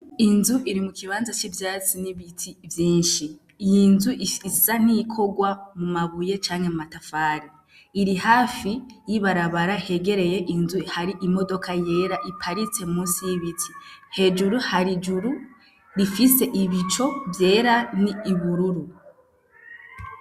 Inzu iri mu kibanza c'ivyatsi n'ibiti vyishi iyi nzu isa n'iyikorwa mu mabuye canke mu matafari iri hafi y'ibarabara hegereye inzu hari imodoka yera iparitse musi y'ibiti hejuru hari ijuru rifise ibicu vyera n'ubururu.